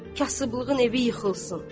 Kasıblığın evi yıxılsın.